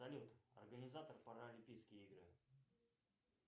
салют организатор паралимпийские игры